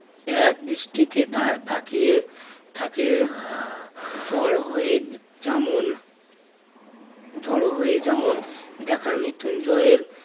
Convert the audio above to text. এক দৃষ্টিতে তা~ তাকিয়ে থাকে জ্বর হয়ে যেমন ঝড়ো হয়ে যেমন দেখার মৃত্যুঞ্জয়ের